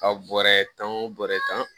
Ka bɔrɛ tan o bɔrɛ tan